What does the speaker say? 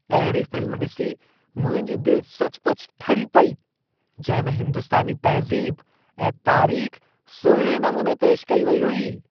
अहिड़ी फ़िल्म ॾिसी मुंहिंजी दिलि सचुपचु ठरी पेई, जंहिं में हिंदुस्तानी तहज़ीब ऐं तारीख़ सुहिणे नमूने पेशि कई वेई हुई।